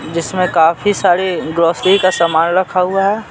इसमें काफी सारे ग्रोसरी का सामान रखा हुआ है।